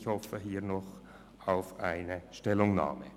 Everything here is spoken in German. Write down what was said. Ich hoffe diesbezüglich noch auf eine Stellungnahme.